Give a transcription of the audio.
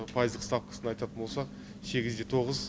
пайыздық ставкасын айтатын болсақ сегіз де тоғыз